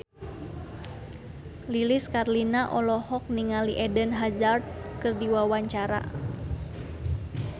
Lilis Karlina olohok ningali Eden Hazard keur diwawancara